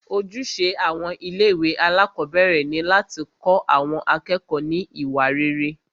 Ojúṣe àwọn ilé ìwé alákọ̀berẹ̀ ni láti kọ́ àwọn akẹ́kọ̀ọ́ ní iwa rere.